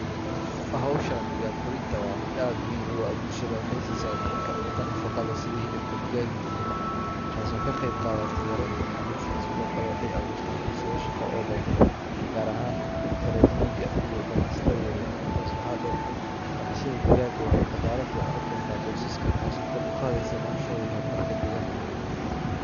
Xowshaan digaag korinta, wa mid aad muxxim ogu ah bulshada, waxay sisa dadka cunta nafaga leh, sidii xilibka digaga iyo ukuma, taaso kaqeyb qadate yarenta maclusha, Sidhokale waxay awurta fursado shago oo badan, gaar ahan dadka rere migaaa iyo ganacsatada yaryar, intas waxa deer daqashada digaaga waxay daqalaa fican u kenta qoysasha taaso kor uqadeyso nolashoda iyo hormarka degaanka,